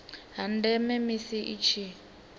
ha ndeme musi a tshi